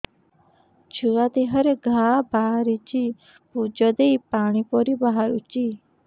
ଛୁଆ ଦେହରେ ଘା ବାହାରିଛି ପୁଜ ହେଇ ପାଣି ପରି ବାହାରୁଚି